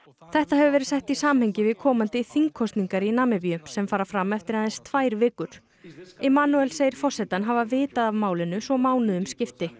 þetta hefur verið sett í samhengi við komandi þingkosningar í Namibíu sem fara fram eftir aðeins tvær vikur segir forsetann hafa vitað af málinu svo mánuðum skipti